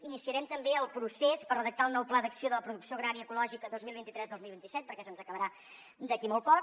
iniciarem també el procés per redactar el nou pla d’acció de la producció agrària ecològica dos mil vint tres dos mil vint set perquè se’ns acabarà d’aquí molt poc